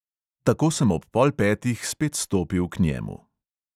Tako sem ob pol petih spet stopil k njemu.